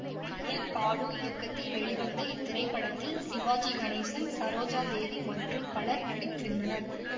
D N Balu இயக்கத்தில் வெளிவந்த இத்திரைப்படத்தில் சிவாஜி கணேசன் சரோஜா தேவி மற்றும் பலர் நடித்திருந்தனர்